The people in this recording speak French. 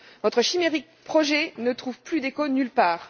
Votre chimérique projet ne trouve plus d'écho nulle part.